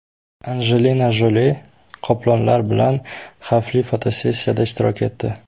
Anjelina Joli qoplonlar bilan xavfli fotosessiyada ishtirok etdi .